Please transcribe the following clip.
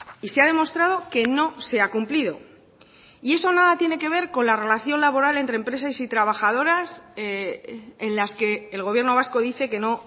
y se ha demostrado que no se ha cumplido y eso nada tiene que ver con la relación laboral entre empresas y trabajadoras en las que el gobierno vasco dice que no